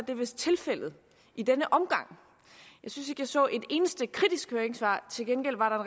det vist tilfældet i denne omgang jeg synes jeg så et eneste kritisk høringssvar til gengæld var der